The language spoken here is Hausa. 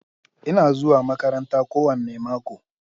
Ina zuwa makaranta kowane mako.